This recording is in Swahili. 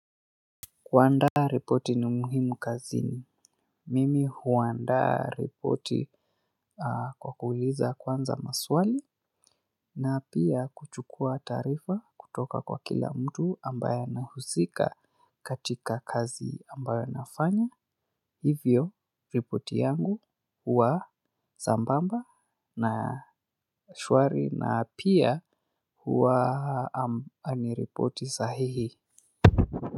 Kuandaa ripoti ni muhimu kazini. Mimi huandaa ripoti kwa kuuliza kwanza maswali na pia kuchukua taarifa kutoka kwa kila mtu ambaye anahusika katika kazi ambayo nafanya. Hivyo ripoti yangu huwa sambamba na shwari na pia huwa ni ripoti sahihi.